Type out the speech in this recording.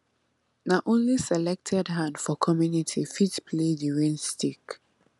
na only selected hand for community fit play di rain stick